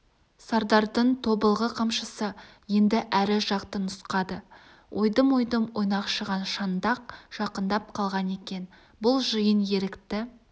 сардардың тобылғы қамшысы енді әрі жақты нұсқады ойдым-ойдым ойнақшыған шаңдақ жақындап қалған екен бұл жиын ерікті